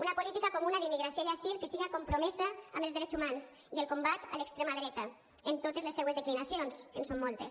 una política comuna d’immigració i asil que siga compromesa amb els drets humans i el combat a l’extrema dreta en totes les seues declinacions que en són moltes